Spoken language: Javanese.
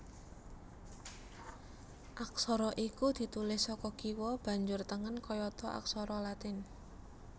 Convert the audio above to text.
Aksara iku ditulis saka kiwa banjur tengen kayata aksara Latin